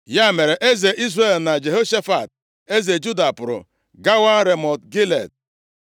Ya mere, eze Izrel na Jehoshafat eze Juda pụrụ gawa Ramọt Gilead.